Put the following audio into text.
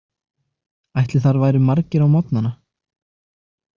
Ætli þar væru margir á morgnana?